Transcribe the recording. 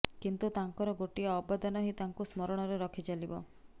କିନ୍ତୁ ତାଙ୍କର ଗୋଟିଏ ଅବଦାନ ହିଁ ତାଙ୍କୁ ସ୍ମରଣରେ ରଖିଚାଲିବ